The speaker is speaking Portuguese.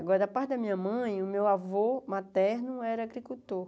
Agora, da parte da minha mãe, o meu avô materno era agricultor.